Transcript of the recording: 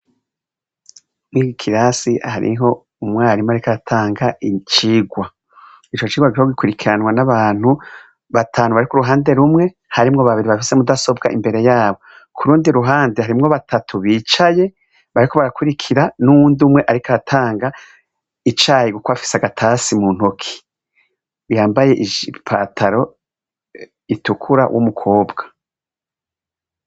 Mwiyi class hariho umwarimu, ariko aratanga icirwa ico cirwa kiriko gikurikiranwa n'abantu batanu bari kuruhande rumwe harimwo babiri bafise umudasobwa imbere yabo kurundi ruhande harimwo batatu bicaye bariko barakurikira n'uwundi umwe, ariko aratanga icayi guko afise agatasi muntoki yambaye ipataro itukura w'umukobwa.